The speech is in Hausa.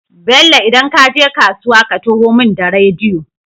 Bello idan kaje kasuwa ka taho mun da rediyo